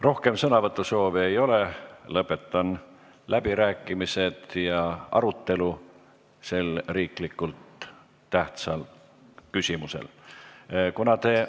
Rohkem sõnavõtusoove ei ole, lõpetan läbirääkimised ja selle olulise tähtsusega riikliku küsimuse arutelu.